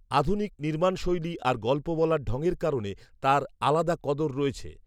আধুনিক নির্মাণশৈলি আর গল্প বলার ঢঙের কারণে তার আলাদা কদর রয়েছে